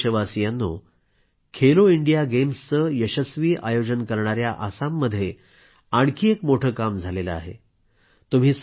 माझ्या प्रिय देशवासियांनो खेलो इंडिया गेम्सचं यशस्वी आयोजन करणाया आसाममध्ये आणखी एक मोठं काम झालं आहे